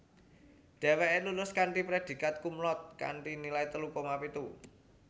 Dheweke lulus kanthi predikat cumlaude kanthi nilai telu koma pitu